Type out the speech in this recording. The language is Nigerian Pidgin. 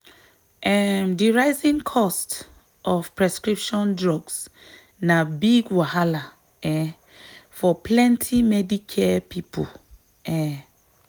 um di rising cost of prescription drugs na big wahala um for plenty medicare people. um